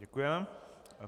Děkujeme.